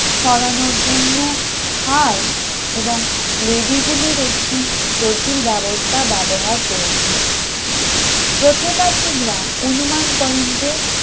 সরানোর জন্য খাই এবং লেভি গুলির একটি জটিল ব্যবস্থা ব্যবহার করেছিল প্রত্নতাত্বিকরা অনুমান করেন যে